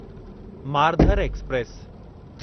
Marudhar express